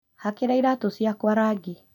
Hakĩra iratũ ciakwa rangi